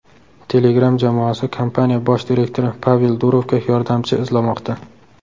Telegram jamoasi kompaniya bosh direktori Pavel Durovga yordamchi izlamoqda.